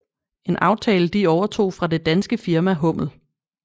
En aftale de overtog fra det danske firma Hummel